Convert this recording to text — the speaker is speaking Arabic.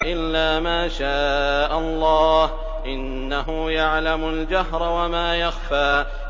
إِلَّا مَا شَاءَ اللَّهُ ۚ إِنَّهُ يَعْلَمُ الْجَهْرَ وَمَا يَخْفَىٰ